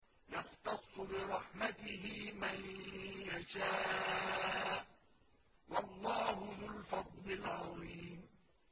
يَخْتَصُّ بِرَحْمَتِهِ مَن يَشَاءُ ۗ وَاللَّهُ ذُو الْفَضْلِ الْعَظِيمِ